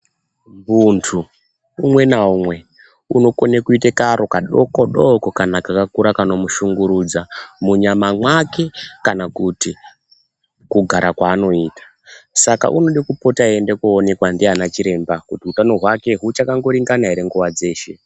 Muntu umwe naumwe unokone kuite karo kadoko doko kana kakaura kanomushungurudza munyama mwake kana kuti kugara kwaanoita saka unode kupota einda koonekwa ndiana chiremba Utano hwake huchakangoringana ere nguwa dzeshe.